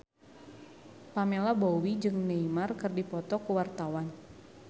Pamela Bowie jeung Neymar keur dipoto ku wartawan